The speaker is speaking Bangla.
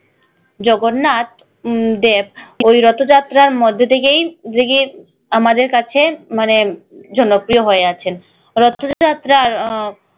জগন্নাথ উম দেব ওই রথ যাত্রার মধ্যে থেকেই আমাদের কাছে মানে জনপ্রিয় হয়ে আছেন রথ যাত্রার আহ